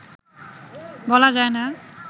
বলা যায় না